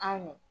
Anw